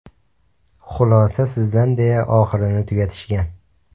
Xulosa sizdan deya oxirini tugatishgan.